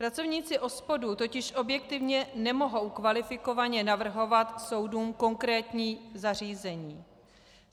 Pracovníci OSPODu totiž objektivně nemohou kvalifikovaně navrhovat soudům konkrétní zařízení.